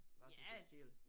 Bare sådan for dig selv